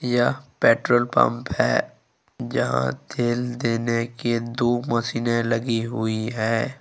यह petrol pump है जहां तेल देने की तो मशीने लगी हुई है।